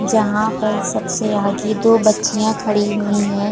जहाँ पर सबसे आगे दो बच्चियाँ खड़ी हुई हैं।